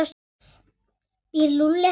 Býr Lúlli ekki hér?